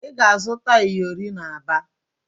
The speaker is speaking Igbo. Ị ga-azụta iyori n'Aba?